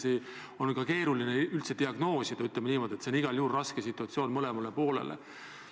Muidugi on sel moel keeruline diagnoosida, nii et see on igal juhul raske situatsioon mõlemale poolele.